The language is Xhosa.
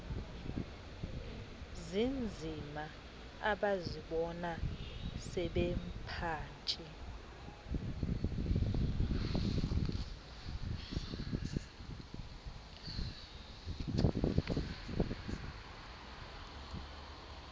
zinzima abazibona sebephantsi